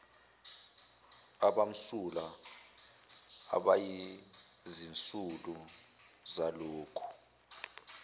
abamsulwa abayizisulu zalokhu